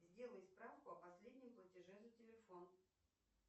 сделай справку о последнем платеже за телефон